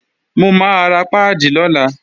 Mò máa ra páàdì lọ́la